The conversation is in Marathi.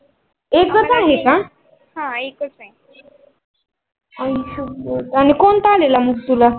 आणि कोणता आलेला मग तुल?